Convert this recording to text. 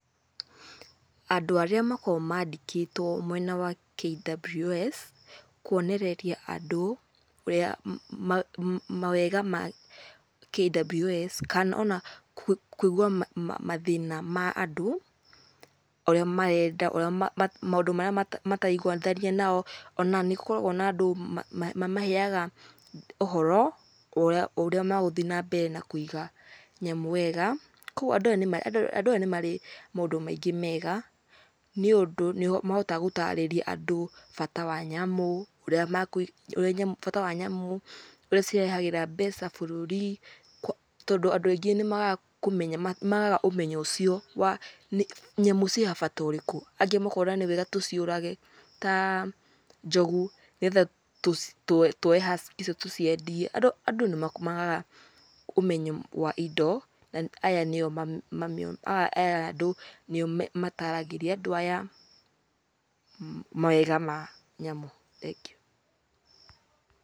Andũ arĩa makoragwo mandĩkĩtwo mwena wa KWS kuonereria andũ ũrĩa mawega ma KWS kana ona kũigua mathĩna ma andũ ũrĩa marenda, maũndũ marĩa mataraiguithania nao. Ona nĩ gũkoragwo na andũ mamaheaga ũhoro wa ũrĩa magũthiĩ na mbere na kuiga nyamũ wega. Koguo andũ aya ni marĩ maũndu maingi mega, ni ũndu ni mahotaga gũtariria andũ bata wa nyamu, ũrĩa , bata wa nyamũ ũrĩa cirehagĩra mbeca bũrũri. Tondũ andũ aingi ni magaga kumenya, ni magaga ũmenyo ũcio wa, nyamũ ciĩna bata ũrĩku? Angĩ makona ni wega tũciurage ta njogu nĩ getha tũoe husk icio tũciendie. Andũ ni magaga ũmenyo wa indo na aya nĩo ma, aya andũ nĩo mataragĩria andũ aya mawega ma nyamũ thegiũ.